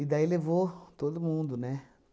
E daí levou todo mundo, né?